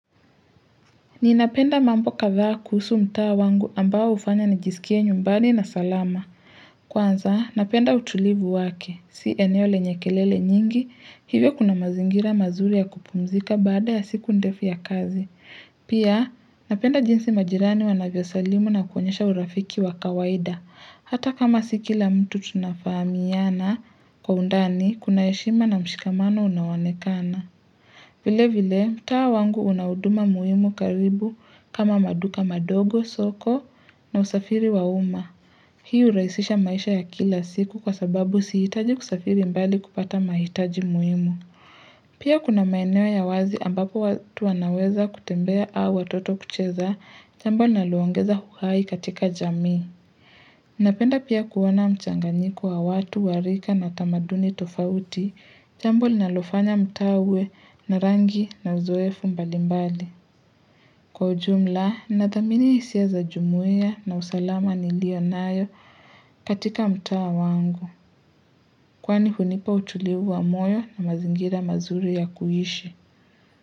Ninapenda mambo kadhaa kuhusu mtaa wangu ambao hufanya nijisikie nyumbani na salama. Kwanza, napenda utulivu wake. Si eneo lenye kelele nyingi, hivyo kuna mazingira mazuri ya kupumzika baada ya siku ndefu ya kazi. Pia, napenda jinsi majirani wanavyo salimu na kuonyesha urafiki wa kawaida. Hata kama si kila mtu tunafahamiana kwa undani, kuna heshima na mshikamano unaonekana. Vile vile, mtaa wangu unahuduma muhimu karibu kama maduka madogo, soko na usafiri wa uma. Hii hurahisisha maisha ya kila siku kwa sababu siitaji kusafiri mbali kupata mahitaji muhimu. Pia kuna maeneo ya wazi ambapo watu wanaweza kutembea au watoto kucheza, jambo linalo ongeza uhai katika jamii. Napenda pia kuona mchanganyiko wa watu wa rika na tamaduni tofauti, jambo linalofanya mtaa uwe na rangi na uzoefu mbalimbali. Kwa ujumla, nadhamini hisia za jumuia na usalama niliyonayo katika mtaa wangu, kwani hunipa utulivu wa moyo na mazingira mazuri ya kuishi.